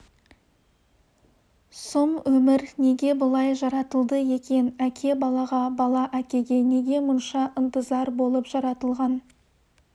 сұм өмір неге бұлай жаратылды екен әке балаға бала әкеге неге мұнша ынтызар болып жаратылған